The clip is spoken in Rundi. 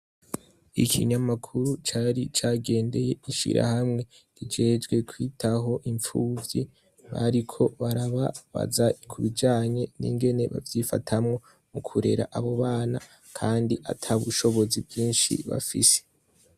Ikinyamakuru cari cagendeye ishirahamwe rijejwe kwitaho imfuvyi bariko barababaza kubijanye ingene bavyifatamwo mukurera abo bana kandi atabushobozi bwinshi bafise .